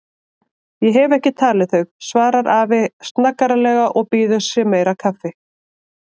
Ég hef ekki talið þau, svarar afi snaggaralega og býður sér meira kaffi.